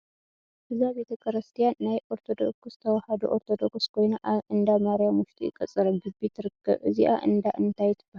እዛ ቤተ ክርስትያን ናይ ኦርቶዶክስ ተዋህዶ ኦርቶዶክስ ኮይና ኣብ እንዳ ማርያም ውሽጢ ቅፅረ ግቢ ትርከብ እዛኣ እንዳ እንታይ ትበሃል ?